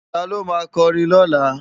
Táló má kòrin lólá?